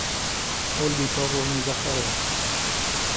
ольгой павловной захаровой